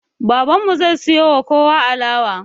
Babanmu zai siyowa kowa alama